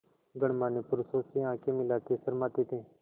गणमान्य पुरुषों से आँखें मिलाते शर्माते थे